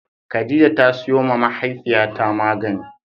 Khadijah ta sayo ma mahaifiya ta magani